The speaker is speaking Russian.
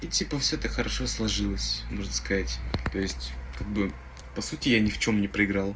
и типо всё так хорошо сложилось можно сказать то есть как бы по сути я ни в чём не проиграл